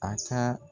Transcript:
A ka